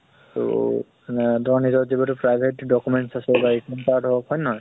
তহ আহ তোমাৰ নিজৰ যি private documents আছে, বা card হৌক, হয় নে নহয়?